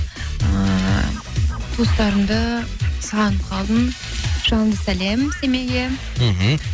ыыы туыстарымды сағынып қалдым жалынды сәлем семейге мхм